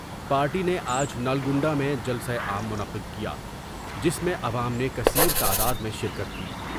Party نے آج نلگنڈہ میں جلسہ عام منعقد کیا جس میں عوام نے کثیر تعداد میں شرکت کی ۔